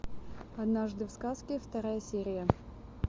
однажды в сказке вторая серия